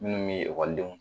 Minnu be ekɔlidenw